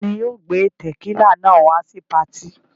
Ta ni yóò gbé tẹ̀kílà náà wá sí patí?